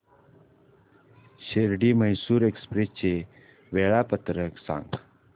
Shirdi Mysore express चे वेळापत्रक सांग